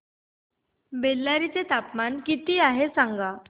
बेल्लारी चे तापमान किती आहे सांगा